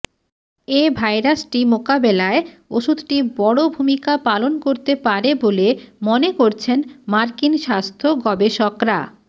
এ ভাইরাসটি মোকাবেলায় ওষুধটি বড় ভূমিকা পালন করতে পারে বলে মনে করছেন মার্কিন স্বাস্থ্য গবেষকরা